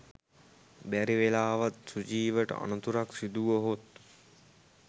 බැරි වෙලාවත් සුජීවට අනතුරක් සිදු වුවහොත්